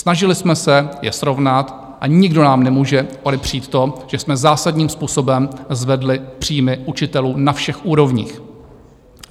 Snažili jsme se je srovnat a nikdo nám nemůže odepřít to, že jsme zásadním způsobem zvedli příjmy učitelů na všech úrovních.